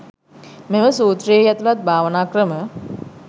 මෙම සූත්‍රයෙහි ඇතුළත් භාවනා ක්‍රම